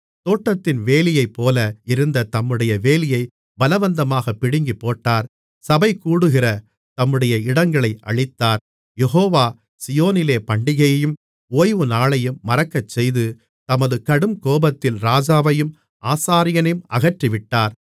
தோட்டத்தின் வேலியைப்போல இருந்த தம்முடைய வேலியைப் பலவந்தமாகப் பிடுங்கிப்போட்டார் சபைகூடுகிற தம்முடைய இடங்களை அழித்தார் யெகோவா சீயோனிலே பண்டிகையையும் ஓய்வு நாளையும் மறக்கச்செய்து தமது கடுங்கோபத்தில் ராஜாவையும் ஆசாரியனையும் அகற்றிவிட்டார்